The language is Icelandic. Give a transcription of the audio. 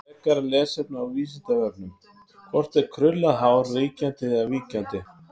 Frekara lesefni á Vísindavefnum: Hvort er krullað hár ríkjandi eða víkjandi?